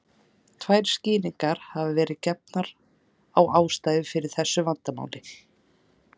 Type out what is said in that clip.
Tvær skýringar hafa verið gefnar á ástæðu fyrir þessu vandamáli.